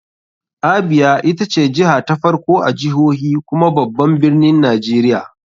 Abia ita ce jiha ta farko a jihohi kuma babban birnin nigeria.